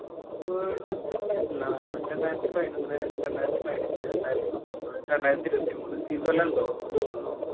World cup ഞ്ഞെന്നാ രണ്ടായിരത്തി പയിനോന്ന് രണ്ടായിരത്തി പയിനഞ്ച് രണ്ടായിരത്തി പത്തൊമ്പത് രണ്ടായിരത്തി ഇരുപത്തി മൂന്ന് ഈ കൊല്ലണ്ടോ ഇണ്ടു തോന്നണു